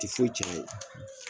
Ti foyi can a ye